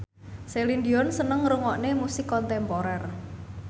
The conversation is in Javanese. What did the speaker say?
Celine Dion seneng ngrungokne musik kontemporer